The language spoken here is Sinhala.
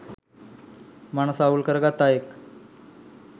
මනස අවුල් කරගත් අයෙක්